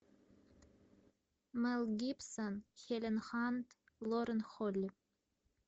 мэл гибсон хелен хант лорен холли